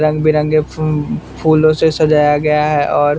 रंग बिरंगे फू फूलों से सजाया गया है और --